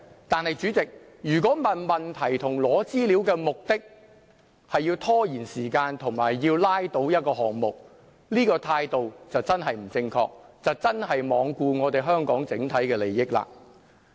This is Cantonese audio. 但是，主席，如果提出問題及索取資料的目的，是要拖延時間及要拉倒一個項目，這個態度便真的不正確，真的是罔顧香港的整體利益。